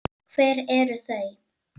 Hver eru þau?